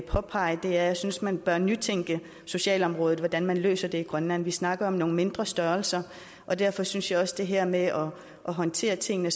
påpege er at jeg synes man bør nytænke socialområdet og hvordan man løser i grønland vi snakker om nogle mindre størrelser og derfor synes jeg også at det her med at håndtere tingene